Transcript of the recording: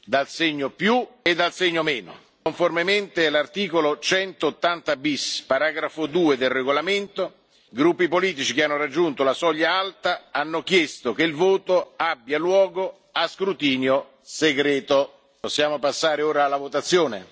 dal segno e dal segno Conformemente all'articolo 180 bis, paragrafo 2, del regolamento, i gruppi politici che hanno raggiunto la soglia alta hanno chiesto che il voto abbia luogo a scrutinio segreto. Possiamo passare ora alla votazione.